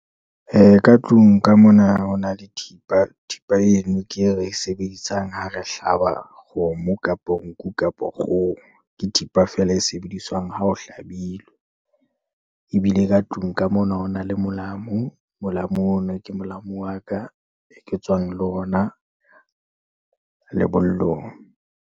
Ka tlung ka mona ho na le thipa, thipa eno ke e re e sebedisang ha re hlaba kgomo, kapo nku, kapa kgoho. Ke thipa feela e sebediswang ha ho hlabilwe. Ebile ka tlung ka mona ho na le molamo, molamo ono ke molamo wa ka e ke tswang le ona lebollong.